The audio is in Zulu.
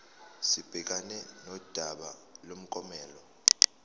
sibhekane nodaba lomklomelo